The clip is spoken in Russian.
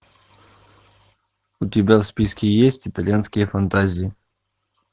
у тебя в списке есть итальянские фантазии